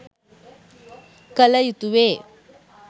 කළ යුතුවේ.